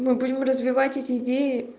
мы будем развивать эти идеи